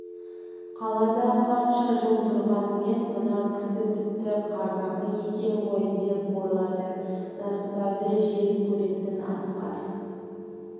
қалада қанша жыл тұрғанмен мына кісі тіпті қазақы екен ғой деп ойлады насыбайды жек көретін асқар